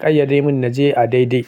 ƙayyade mun naje a daidai.